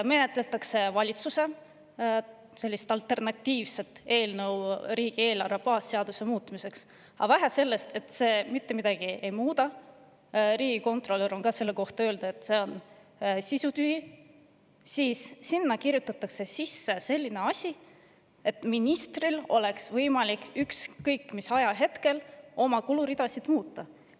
Menetletakse valitsuse alternatiivset eelnõu riigieelarve baasseaduse muutmiseks, aga vähe sellest, et see mitte midagi ei muuda – riigikontrolör on samuti selle kohta öelnud, et see on sisutühi –, kirjutatakse sinna sisse veel selline asi, et ministril oleks võimalik ükskõik mis ajahetkel oma kuluridasid muuta.